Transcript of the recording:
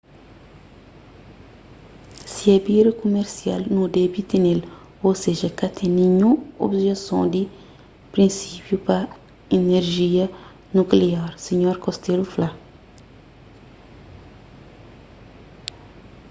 si é bira kumersial nu debe tene-l ô seja ka ten ninhun objeson di prinsipiu pa inerjia nukliar sinhor costello fla